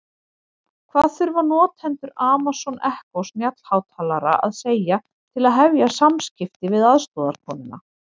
Hvað þurfa notendur Amazon Echo snjallhátalara að segja til að hefja samskipti við aðstoðarkonuna?